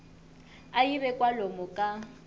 a yi ve kwalomu ka